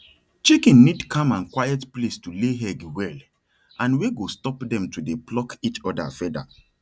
chicken need calm and quiet place to lay egg well and wey go stop dem to dey pluck each other feather